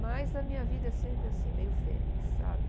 Mas a minha vida é sempre assim, meio fênix, sabe?